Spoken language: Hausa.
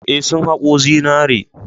Eh, sun haƙo zinare.